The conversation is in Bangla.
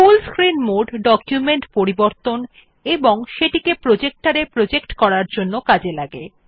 ফুল স্ক্রিন মোড ডকুমেন্ট পরিবর্তন এবং সেটিকে প্রজেক্টর এ প্রজেক্ট করার জন্য উপযোগী